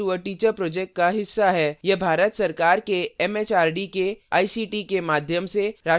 यह भारत सरकार के एमएचआरडी के आईसीटी के माध्यम से राष्ट्रीय साक्षरता mission द्वारा समर्थित है